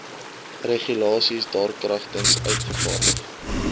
regulasies daarkragtens uitgevaardig